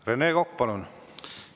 Rene Kokk, palun!